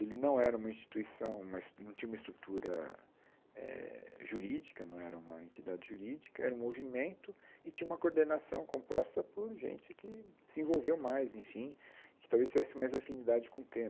Ele não era uma instituição, uma es não tinha uma estrutura eh jurídica, não era uma entidade jurídica, era um movimento e tinha uma coordenação composta por gente que se envolveu mais, enfim, que talvez tivesse mais afinidade com o tema.